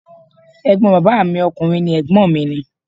Ẹ̀gbọ́n bàbá mi ọkùnrin ni Ẹ̀gbọ́n mi ni.